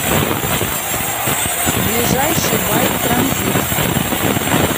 ближайший байт транзит